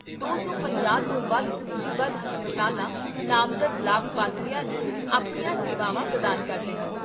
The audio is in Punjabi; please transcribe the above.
ਦੋ ਸੌ ਪੰਜਾਹ ਤੋਂ ਵੱਧ ਸੂਚੀਬੱਧ ਹਸਪਤਾਲ ਨਾਮਜ਼ਦ ਲਾਭਪਾਤਰੀਆਂ ਨੂੰ ਆਪਣੀਆਂ ਸੇਵਾਵਾਂ ਪ੍ਰਦਾਨ ਕਰਦੇ ਹਨ